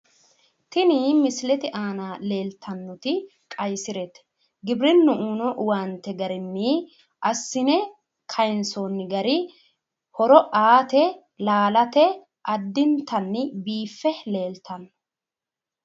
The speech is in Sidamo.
tini misilete aana leeltannoti qayyisirete giwirinnu uyiino owaante garinni assine kayiinsoonni gari horo aate laalate addintanni biiffe leeltanno.